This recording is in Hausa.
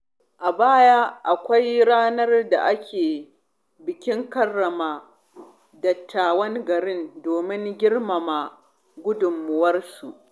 A baya, akwai ranar da ake bikin karrama dattawan gari domin girmama gudunmawarsu.